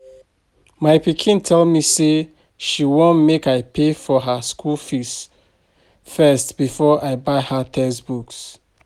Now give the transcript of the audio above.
My pikin tell me say she wan make I pay for her school um fees first before I buy her textbooks